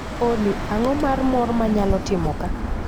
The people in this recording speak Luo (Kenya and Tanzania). Olly, ang'o mar morr manyalo timo kaa